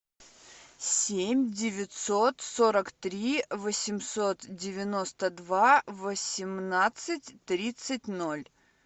семь девятьсот сорок три восемьсот девяносто два восемнадцать тридцать ноль